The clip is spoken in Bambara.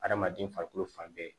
Adamaden farikolo fan bɛɛ